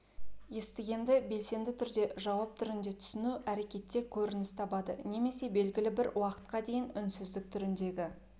естігенді белсенді түрде жауап түрінде түсіну әрекетте көрініс табады немесе белгілі бір уақытқа дейін үнсіздік түріндегі